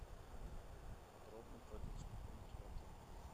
подробно про детскую комнату в отеле